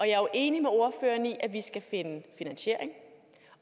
jeg er jo enig med ordføreren i at vi skal finde finansiering